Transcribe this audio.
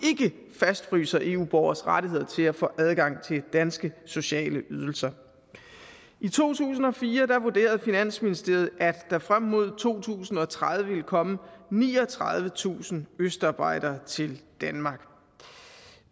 fastfryser eu borgeres rettigheder til at få adgang til danske sociale ydelser i to tusind og fire vurderede finansministeriet at der frem mod to tusind og tredive ville komme niogtredivetusind østarbejdere til danmark